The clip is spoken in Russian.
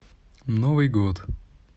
новый год